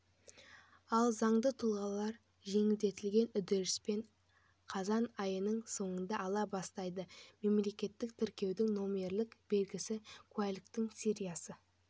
ал заңды тұлғалар жеңілдетілген үрдіспен қазан айының соңында ала бастайды мемлекеттік тіркеудің номерлік белгісі куәліктің сериясы